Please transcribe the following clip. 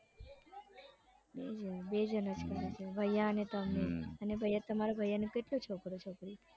બે જણ જણ જ કરે છે ભૈયાને તમે અને તમારા ભાઈને કેટલી છોકરો છોકરી